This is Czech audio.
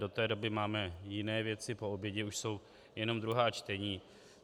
Do té doby máme jiné věci, po obědě už jsou jenom druhá čtení.